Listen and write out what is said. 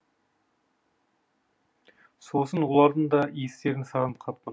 сосын олардың да иістерін сағынып қаппын